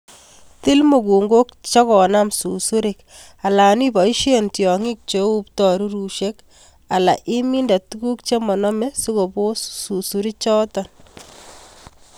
Til mukunkok chekonam susurik alan iboisien tiongik cheu ptorurusiek alan iminde tuguk chemonome sikobos susurikchuton.